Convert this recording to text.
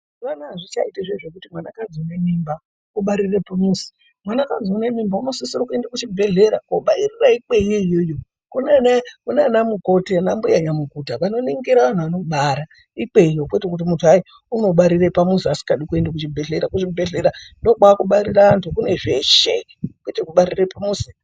Mazuwa Anaya azvichaitwi zviya zvekuti mwanakadzi ane mimba unobarira pamuzi mwanakadzi unemimba unosisa kuenda kuzvibhehlera obarira ikweyo kunana mukoti ana mbuyanyamukuta vanonigira vanhu vanobara ikweyo kwete kuti mundu unobarira pamuzi asingadi kuenda kuzvibhehlera kuzvibhehlera kune zveshe kwete kubarira pamuzi.